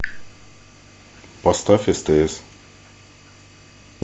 поставь стс